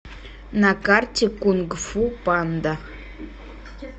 на карте кунг фу панда